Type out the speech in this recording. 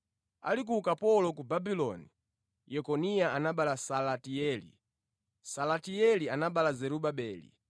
Ali ku ukapolo ku Babuloni, Yekoniya anabereka Salatieli, Salatieli anabereka Zerubabeli.